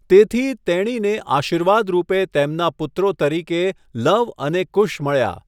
તેથી, તેણીને આશીર્વાદ રૂપે તેમના પુત્રો તરીકે લવ અને કુશ મળ્યા.